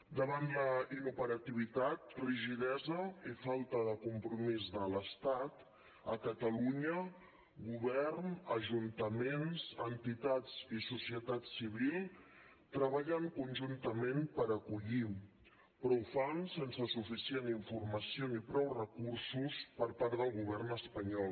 davant la inoperativitat rigidesa i falta de compromís de l’estat a catalunya govern ajuntaments entitats i societat civil treballen conjuntament per acollir però ho fan sense suficient informació ni prou recursos per part del govern espanyol